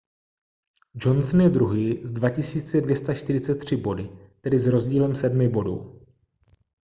johnson je druhý s 2 243 body tedy s rozdílem sedmi bodů